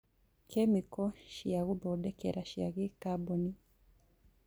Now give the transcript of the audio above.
Kĩmĩko cia gwĩthondekera cia gikaboni